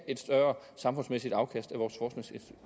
et større samfundsmæssigt afkast